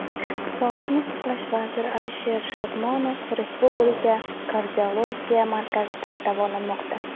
Sog‘liqni saqlash vaziri Alisher Shodmonov Respublika kardiologiya markazida davolanmoqda.